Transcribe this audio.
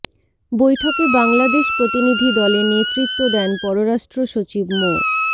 বৈঠকে বাংলাদেশ প্রতিনিধি দলে নেতৃত্ব দেন পররাষ্ট্র সচিব মো